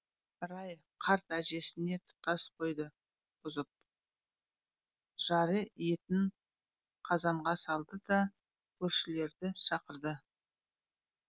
рай қарт әжесіне тұтас қойды бұзып жары етін қазанға салды да көршілерді шақырды